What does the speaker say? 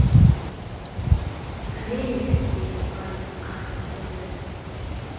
журейик деді борис қарсылық білдіріп